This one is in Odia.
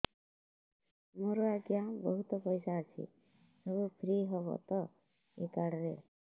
ମୋର ଆଜ୍ଞା ବହୁତ ପଇସା ଅଛି ସବୁ ଫ୍ରି ହବ ତ ଏ କାର୍ଡ ରେ